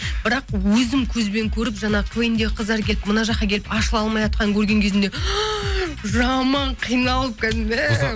бірақ өзім көзбен көріп жаңағы квн дегі қыздар келіп мына жаққа келіп ашыла алмайатқанын көрген кезімде жаман қиналып кәдімгі